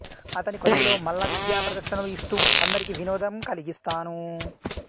అతని కొలువులో మల్ల విద్యా ప్రదర్శనలు ఇస్తూ అందరికి వినోదం కలిగిస్తాను